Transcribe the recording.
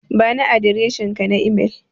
Bani adireshinka na imel.